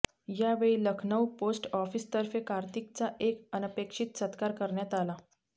यावेळी Lucknow post office तर्फे कार्तिकचा एक अनपेक्षित सत्कार करण्यात आला